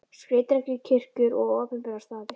Skreytingar í kirkjur og á opinbera staði.